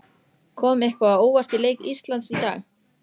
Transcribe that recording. Svona blundar hún í manni letin.